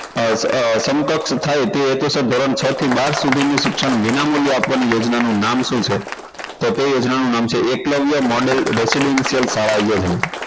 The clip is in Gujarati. અ અ સમકક્ષ થાય તે રીતે ધોરણ છ થી બાર સુધીનું શિક્ષણ વિનામૂલ્ય આપવાની યોજના નું નામ શું છે તો તે યોજનાનું નામ છે એકલવ્ય model dakshidician શાળા યોજના